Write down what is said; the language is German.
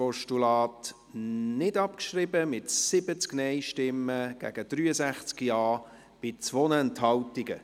Sie haben das Postulat nicht abgeschrieben, mit 70 Nein- gegen 63 Ja-Stimmen bei 2 Enthaltungen.